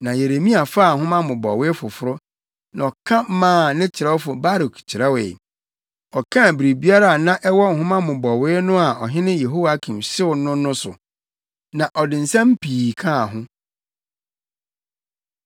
Na Yeremia faa nhoma mmobɔwee foforo, na ɔka maa ne kyerɛwfo Baruk kyerɛwee. Ɔkaa biribiara a na ɛwɔ nhoma mmobɔwee no a ɔhene Yehoiakim hyew no no so. Na ɔde nsɛm pii kaa ho.